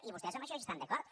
i vostès en això hi estan d’acord